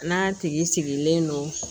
N'a tigi sigilen don